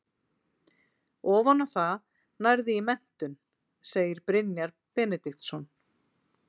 Ofan á það nærðu í menntun, segir Brynjar Benediktsson.